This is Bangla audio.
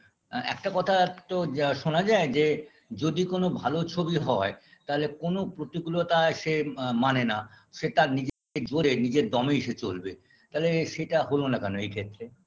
একটা কথা একটু যা শোনা যায় যে যদি কোনো ভালো ছবি হয় তাহলে কোনো প্রতিকূলতা সে মা মানে না সেটা নিজের জোড়ে নিজের দমে সে চলবে তালে সেটা হলো না কেন এই ক্ষেত্রে